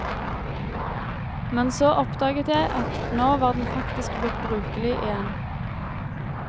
Men så oppdaget jeg at nå var den faktisk blitt brukelig igjen.